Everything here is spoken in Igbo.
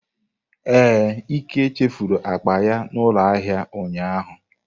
Ee, Ike chefuru akpa ya n'ulo ahia ụnyahụ.